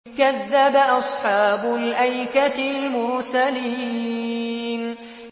كَذَّبَ أَصْحَابُ الْأَيْكَةِ الْمُرْسَلِينَ